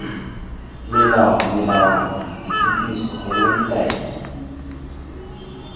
molao melawana dikitsiso gongwe ditaelo